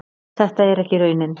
Þetta er ekki raunin.